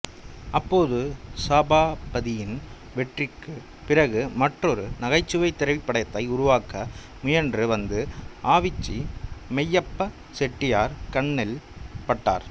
அப்போது சபாபதியின் வெற்றிக்குப் பிறகு மற்றொரு நகைச்சுவைத் திரைப்படத்தை உருவாக்க முயன்று வந்த ஆவிச்சி மெய்யப்பச் செட்டியார் கண்ணில் பட்டார்